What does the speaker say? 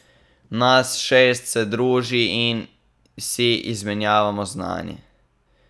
Nas šest se druži in si izmenjavamo znanje.